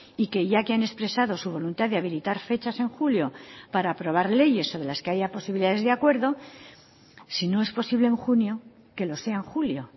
y que ya que han expresado su voluntad de habilitar fechas en julio para aprobar leyes sobre las que haya posibilidades de acuerdo sino es posible en junio que lo sea en julio